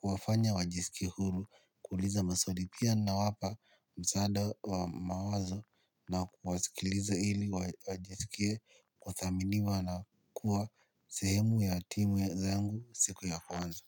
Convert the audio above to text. kuwafanya wajisikie huru kuuliza maswali, pia nawapa msaada wa mawazo na kuwasikiliza ili wajisikie kuthaminiwa na kuwa sehemu ya timu zangu siku ya kwanza.